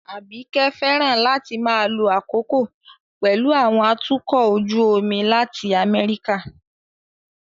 Abike fẹ́ràn láti máa lo àkókò pẹ̀lú àwọn atukọ̀ ojú omi láti America